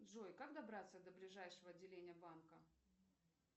джой как добраться до ближайшего отделения банка